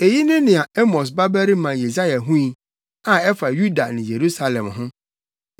Eyi ne nea Amos babarima Yesaia hui, a ɛfa Yuda ne Yerusalem ho.